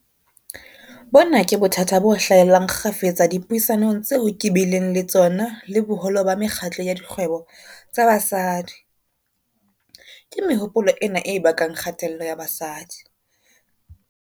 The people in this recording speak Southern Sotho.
Bona ke bothata bo hlahellang kgafetsa dipuisanong tseo ke bileng le tsona le boholo ba mekgatlo ya dikgwebo tsa basadi. Ke mehopolo ena e bakang kgatello ya basadi.